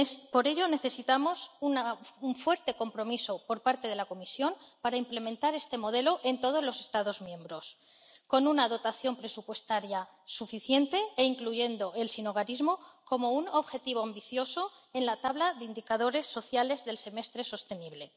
Por ello, necesitamos un fuerte compromiso por parte de la Comisión para implementar este modelo en todos los Estados miembros, con una dotación presupuestaria suficiente y la inclusión del sinhogarismo como un objetivo ambicioso en la tabla de indicadores sociales del semestre sostenible.